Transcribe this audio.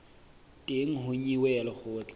teng ho nyewe ya lekgotla